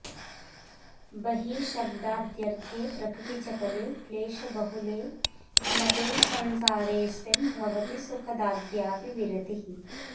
बहिः शब्दाद्यर्थे प्रकृतिचपले क्लेशबहुले न ते संसारेऽस्मिन्भवति सुखदाद्यापि विरतिः